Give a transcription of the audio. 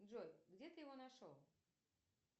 джой где ты его нашел